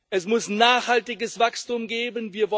Es muss ein nachhaltiges Wachstum geben.